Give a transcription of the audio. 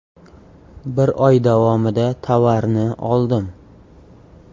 Bir oy davomida tovarni oldim.